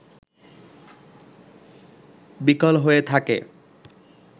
বিকল হয়ে থাকে